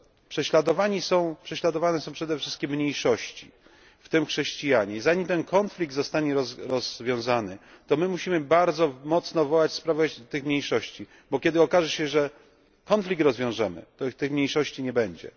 Prześladowane są przede wszystkim mniejszości, w tym chrześcijanie. Zanim ten konflikt zostanie rozwiązany, to my musimy bardzo mocno wołać w sprawie tych mniejszości, bo kiedy okaże się, że konflikt rozwiążemy, to tych mniejszości nie będzie.